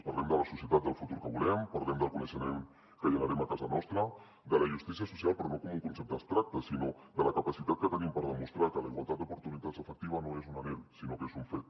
parlem de la societat del futur que volem parlem del coneixement que generem a casa nostra de la justícia social però no com un concepte abstracte sinó de la capacitat que tenim per demostrar que la igualtat d’oportunitats efectiva no és un anhel sinó que és un fet